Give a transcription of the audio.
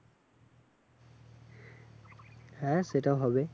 হ্যাঁ সেটাও হবে